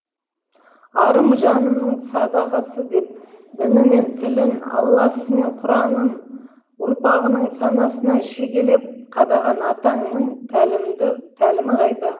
арым жанымның садағасы деп діні мен тілін алласы мен құранын ұрпағының санасына шегелеп қадаған атаңның тәлімі қайда